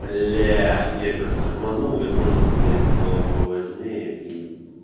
блять я короче тормознул я понял что у меня есть дела поважнее и мм